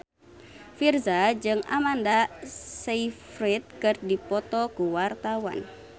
Virzha jeung Amanda Sayfried keur dipoto ku wartawan